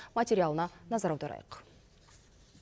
материалына назар аударайық